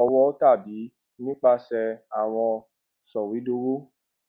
owó tàbí nípasè àwọn sòwédowó